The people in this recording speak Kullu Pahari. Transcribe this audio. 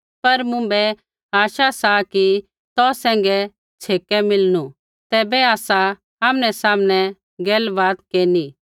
पर मुँभै आशा सा कि तौ सैंघै छ़ेकै मिलणू तैबै आसा आमनैसामनै गलबात केरनी